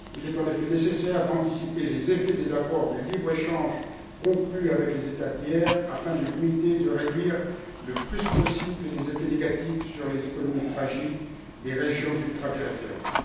Il est en effet nécessaire d'anticiper les incidences des accords de libre échange conclus avec les États tiers afin de limiter et de réduire le plus possible les effets négatifs sur les économies fragiles des régions ultrapériphériques.